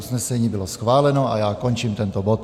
Usnesení bylo schváleno a já končím tento bod.